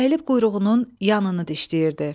Əyilib quyruğunun yanını dişləyirdi.